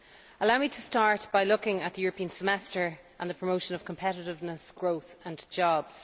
Allow me to start by looking at the European Semester and the promotion of competitiveness, growth and jobs.